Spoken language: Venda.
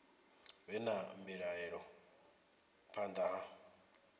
vhe na mbilaelo phanḓa ha